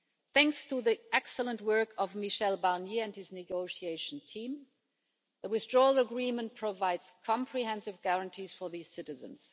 Thanks to the excellent work of Michel Barnier and his negotiating team, the Withdrawal Agreement provides comprehensive guarantees for these citizens.